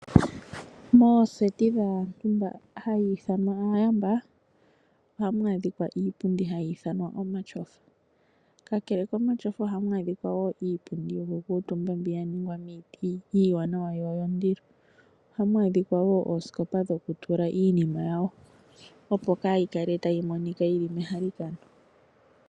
Mooseti dhaantu mboka haya ithanwa aayamba ohamu adhika iipundi mbyoka hayi ithanwa omatyofa. Kakele komatyofa ohamu adhika wo iipundi yokukuutumba mbyono ya ningwa miiti iiwanawa yo oyondilo. Ohamu adhika wo oosikopa dhokutula iinima yawo, opo kaayi kale tayi monika yi li mehalakano.